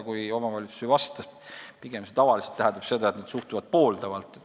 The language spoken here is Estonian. Kui omavalitsus ei vasta, siis see tähendab tavaliselt pigem seda, et nad suhtuvad pooldavalt.